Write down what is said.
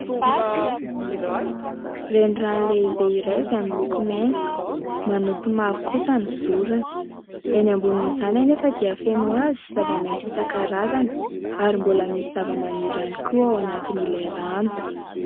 Reny rano lehibe iray izay miloko maitso manopy mavo kosa ny zorony. Enỳ ambonin'izany anefa dia feno hazo sy zava-maitso isan-karazany ary mbola misy zavamaniry ihany koa ao anatiny ilay rano.